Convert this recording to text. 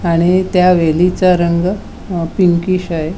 आणि त्या वेलीचा रंग अ पिंकीश आहे.